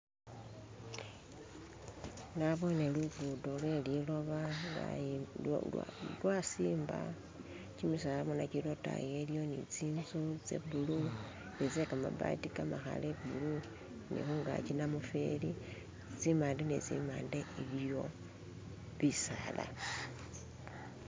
Naboone lugudo lweliloba lwasimba, kimisala bona kili lwotayi iliyo ne tsinzu tse blue ni tse kamabati kamakhale blue ne khungaki namufeli, tsimande ne tsimande, iliyo bisala.